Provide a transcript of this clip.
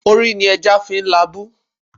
Orí ni ẹja fi ń la ibú.